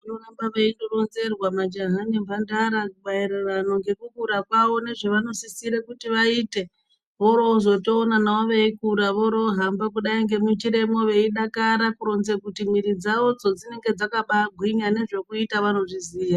Vanoda kuramba veironzerwa majaha nemhandara maererano ngokukura kwawo nezvavanosisire kuti vaite. Vorovozotoonana veikura vorovohamba kudai nemunjiramwo veidakara kuronze kuti mwiri dzawodzo dzinenge dzakabagwinya nezvekuita vanoziziya.